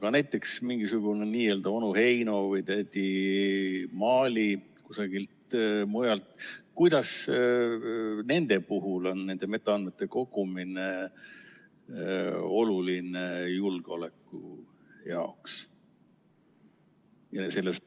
Aga näiteks mingisugune n‑ö onu Heino või tädi Maali kusagilt mujalt, kuidas nende puhul on nende metaandmete kogumine oluline julgeoleku jaoks?